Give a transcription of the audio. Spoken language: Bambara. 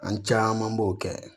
An caman b'o kɛ